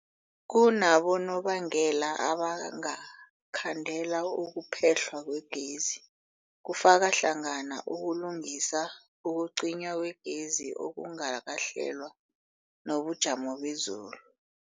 Kunabonobangela abangakhandela ukuphehlwa kwegezi, kufaka hlangana ukulungisa, ukucinywa kwegezi okungakahlelwa, nobujamo bezulu.